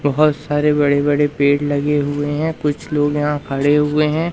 बहुत सारे बड़े बड़े पेड़ लगे हुए हैं कुछ लोग यहां खड़े हुए हैं।